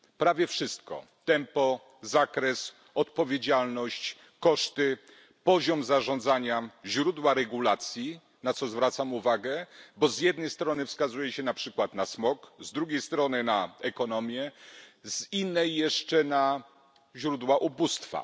Prawie wszystko tempo, zakres, odpowiedzialność, koszty, poziom zarządzania, źródła regulacji, na co zwracam uwagę, bo z jednej strony wskazuje się na przykład na smog, z drugiej strony na ekonomię, z innej jeszcze na źródła ubóstwa.